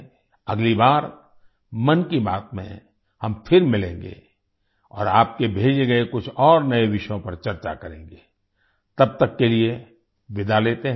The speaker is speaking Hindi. अगली बार मन की बात में हम फिर मिलेंगे और आपके भेजे गए कुछ और नये विषयों पर चर्चा करेंगे तब तक के लिए विदा लेते हैं